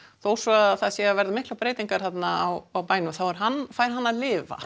þó svo að það séu að verða miklar breytingar á bænum þá fær hann fær hann að lifa